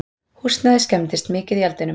Húsnæðið skemmdist mikið í eldinum